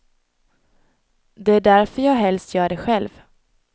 Det är därför jag helst gör det själv.